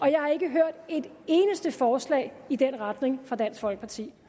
jeg har ikke hørt et eneste forslag i den retning fra dansk folkeparti